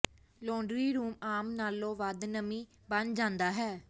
laundry room ਆਮ ਨਾਲੋਂ ਵੱਧ ਨਮੀ ਬਣ ਜਾਂਦਾ ਹੈ